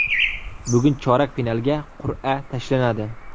Bugun chorak finalga qur’a tashlanadi.